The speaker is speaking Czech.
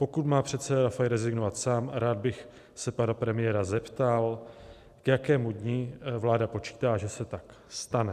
Pokud má předseda Rafaj rezignovat sám, rád bych se pana premiéra zeptal, k jakému dni vláda počítá, že se tak stane.